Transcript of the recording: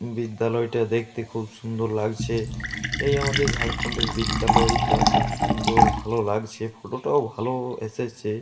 বিদ্যালয়টা দেখতে খুব সুন্দর লাগছে। এই আমাদের ঝাড়খণ্ডের বিদ্যালয়টা খুব সুন্দর। ভালো লাগছে। ফটো টাও ভালো এসেছে।